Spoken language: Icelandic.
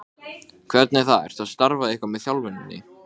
Þau eiga líka hund sem hún þarf að hugsa um.